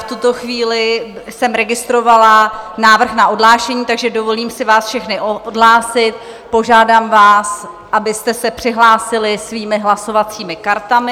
V tuto chvíli jsem registrovala návrh na odhlášení, takže dovolím si vás všechny odhlásit, požádám vás, abyste se přihlásili svými hlasovacími kartami.